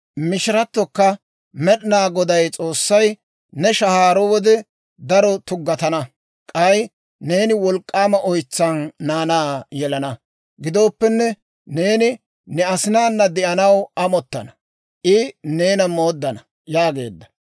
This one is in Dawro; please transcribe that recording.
Mishirattokka Med'inaa Goday S'oossay, «Ne shahaaro wode daro tuggatana; k'ay neeni wolk'k'aama oytsan naanaa yelana. Gidooppenne neeni ne asinaana de'anaw amottana; I neena mooddana» yaageedda.